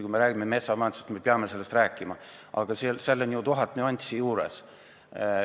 Kui me räägime metsamajandusest, siis me muidugi peame sellest rääkima, aga seal on ju tuhat nüanssi juures.